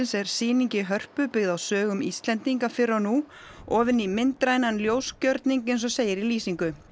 er sýning í Hörpu byggð á sögum Íslendinga fyrr og nú ofin í myndrænan ljósgjörning eins og segir í lýsingu